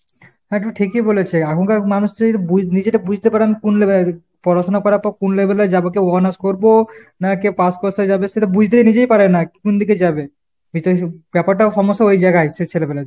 হ্যাঁ তু ঠিকই বলেছে। আখনকার মানুষরা যদি বুজ নিজেকে বুজতে পারে আমি কোন level এ আছি পড়াশুনা করার পর আমি কোন level এ যাবো। কেউ honors করবো নাকে pass course এ যাবে সেটা বুজতে নিজেই পারে না, কোনদিকে যাবে ? ব্যাপারটা সমস্যা ওই জায়গায় আইসে ছেলেগুলোর।